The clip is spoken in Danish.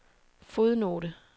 fodnote